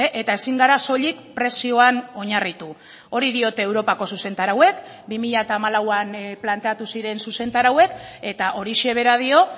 eta ezin gara soilik prezioan oinarritu hori diote europako zuzentarauek bi mila hamalauan planteatu ziren zuzentarauek eta horixe bera dio